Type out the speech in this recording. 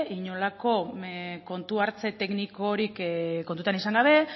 inolako kontu hartze teknikorik kontutan izan gabe